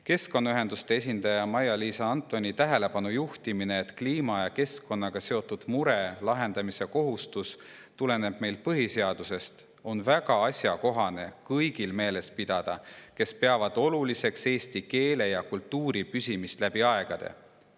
Keskkonnaühenduste esindaja Maia‑Liisa Antoni tähelepanujuhtimist, et kliima ja keskkonnaga seotud mure lahendamise kohustus tuleneb põhiseadusest, on väga asjakohane meeles pidada kõigil, kes peavad oluliseks eesti keele ja kultuuri püsimist läbi aegade.